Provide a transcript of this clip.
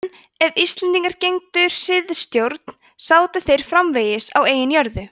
en ef íslendingar gegndu hirðstjórn sátu þeir framvegis á eigin jörðum